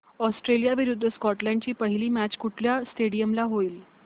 Australia विरुद्ध Scotland ची पहिली मॅच कुठल्या स्टेडीयम ला होईल